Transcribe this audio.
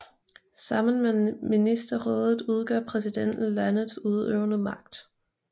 Sammen med ministerrådet udgør præsidenten landets udøvende magt